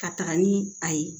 Ka taga ni a ye